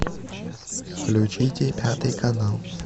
включите пятый канал